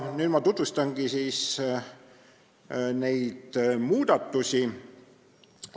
Nüüd ma tutvustangi neid muudatusi.